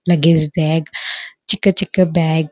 luggage bag ಚಿಕ್ಕ ಚಿಕ್ಕ bag --